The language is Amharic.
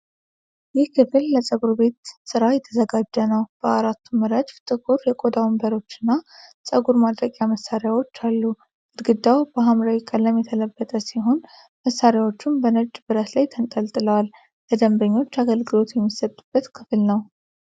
ይህ ክፍል ለፀጉር ቤት ሥራ የተዘጋጀ ነው። በአራቱም ረድፍ ጥቁር የቆዳ ወንበሮችና ጸጉር ማድረቂያ መሣሪያዎች አሉ። ግድግዳው በሐምራዊ ቀለም የተለበጠ ሲሆን፣ መሣሪያዎቹም በነጭ ብረት ላይ ተንጠልጥለዋል። ለደንበኞች አገልግሎት የሚሰጥበት ክፍል ነው።